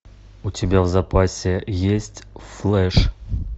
у тебя в запасе есть флэш